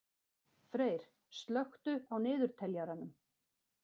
Freyr, slökktu á niðurteljaranum.